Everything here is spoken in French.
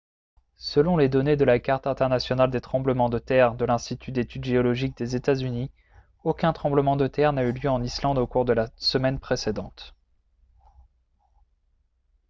selon les données de la carte internationale des tremblements de terre de l'institut d'études géologiques des états-unis aucun tremblement de terre n'a eu lieu en islande au cours de la semaine précédente